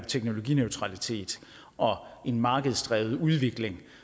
teknologineutralitet og en markedsdrevet udvikling